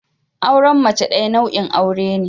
Auren mace daya nau'in aure ne.